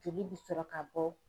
Joli bi sɔrɔ ka bɔ.